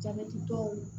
Jabɛti tɔw